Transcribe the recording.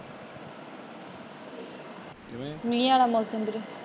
ਕਿਵੇਂ?